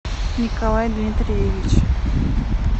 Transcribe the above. николай дмитриевич